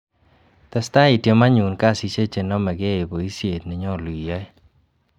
Testa itiem anyun kasisiek che nome key boisiet nenyolu iyoe.